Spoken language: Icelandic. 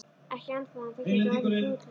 Ekki ennþá en það gæti orðið fljótlega.